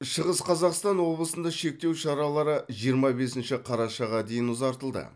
шығыс қазақстан облысында шектеу шаралары жиырма бесінші қарашаға дейін ұзартылды